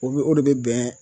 O bɛ o de bɛ bɛn